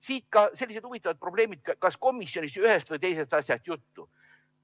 Siit ka sellised huvitavad probleemid, et kas komisjonis ühest või teisest asjast oli juttu.